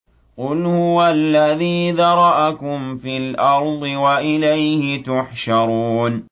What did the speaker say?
قُلْ هُوَ الَّذِي ذَرَأَكُمْ فِي الْأَرْضِ وَإِلَيْهِ تُحْشَرُونَ